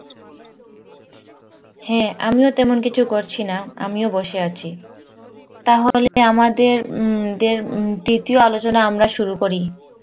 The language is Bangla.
হ্যাঁ আমিও তেমন কিছু করছিনা আমিও বসেছি তাহলে আমাদের উম দের উম তৃতীয় আলোচনা আমরা শুরু করি